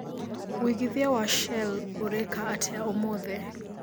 wĩĩgĩthĩa wa shell ũreka atĩa ũmũthi